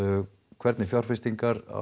hvernig fjárfestingar